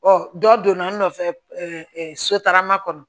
Ɔ dɔ donna n nɔfɛ sotarama kɔnɔ